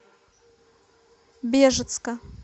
бежецка